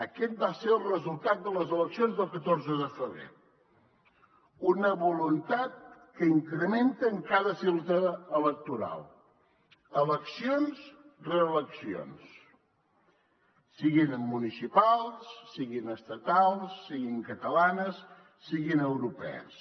aquest va ser el resultat de les eleccions del catorze de febrer una voluntat que incrementa en cada cita electoral eleccions rere eleccions siguin municipals siguin estatals siguin catalanes siguin europees